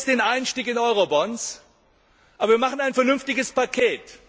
Wir machen jetzt den Einstieg in Eurobonds, aber wir schnüren ein vernünftiges Paket.